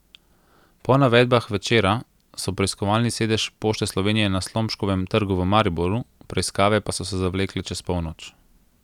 Po navedbah Večera so preiskovali sedež Pošte Slovenije na Slomškovem trgu v Mariboru, preiskave pa so se zavlekle čez polnoč.